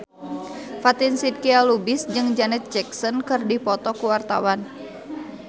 Fatin Shidqia Lubis jeung Janet Jackson keur dipoto ku wartawan